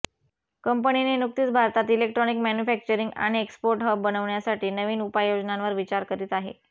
कंपनीने नुकतीच भारतात इलेक्ट्रॉनिक मॅन्यूफॅक्चरिंग आणि एक्सपोर्ट हब बनवण्यासाठी नवीन उपाय योजनांवर विचार करीत आहे